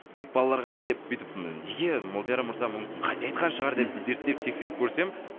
тек балаларға ма деп бүйтіп неге молдияр мырза мүмкін қате айтқан шығар деп мхм зерттеп тексеріп көрсем